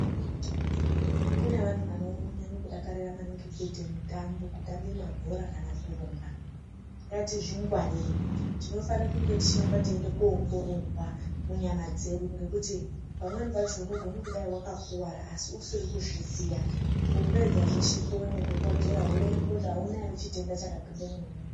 Kune vanhu vanonyanye kudakarira maningi kuite mitambo, kutambe mabhora kana kurumba. Ngatizvingwarire, tinofane kunge tichiramba teiende koongororwa munyama dzedu, ngekuti pamweni pacho unogona kudai wakakuwara asi usiri kuzviziya. Kupedza zveshe kuone dhokodhera, woonekwa kuti hauna here chitenda chakapinde mwauri.